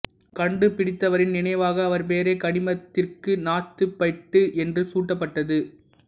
கண்டுபிடித்தவரின் நினைவாக அவர் பெயரே கனிமத்திற்கு நார்த்துபைட்டு என்று சூட்டப்பட்டது